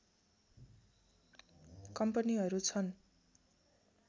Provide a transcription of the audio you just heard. कम्पनीहरू छन्